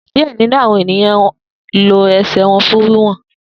Diẹ ninu awọn eniyan lo ẹsẹ wọn fun wiwọn.